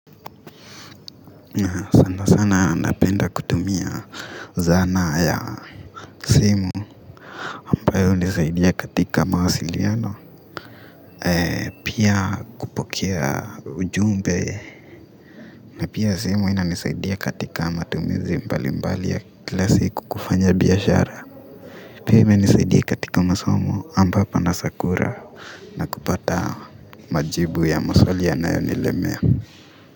Na sana sana napenda kutumia zana ya simu ambayo hunisaidia katika mawasiliano pia kupokea ujumbe na pia simu ina nisaidia katika matumizi mbali mbali ya kila siku kufanya biashara pia imenisaidia katika masomo ambapo na sakura na kupata majibu ya maswali yanayo nilemia.